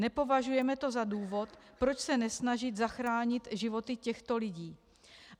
Nepovažujeme to za důvod, proč se nesnažit zachránit životy těchto lidí.